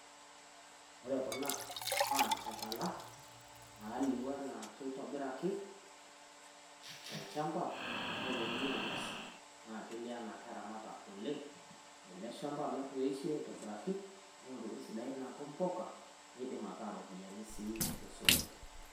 Ore kuna naa nchakala naalio enaa keitobiraki, tolchamba neponunui aikesu naa kelio enaa keramata oleng ele shamba amu etoishie aitobiraki neyiu ntokitin sidai naaku mpuka neidim ataa ropiyiani sii to sokoni.